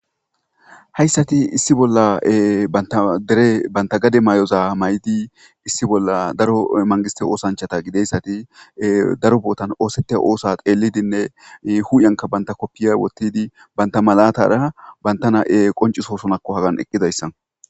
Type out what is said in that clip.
Hayssati issi bolla antadere banta gade may'oza may'idi issi bolla daro mangiste oosanchata gideyssati daro bootan oosete oosa qeelidinne huuyanka banta koppiya wottidi banta malatara bantana'e qoncisosonakko hagan eqqidayssa.